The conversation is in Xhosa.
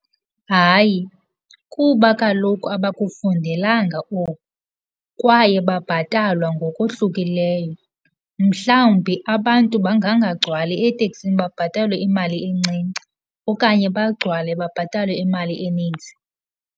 Hayi, kuba kaloku abakufundelanga oku kwaye babhatalwa ngokohlukileyo. Mhlawumbi abantu bangangagcwali eteksini babhatalwe imali encinci, okanye bagcwale babhatalwe imali eninzi.